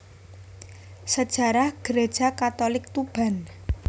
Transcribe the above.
Sejarah Gereja Katolik Tuban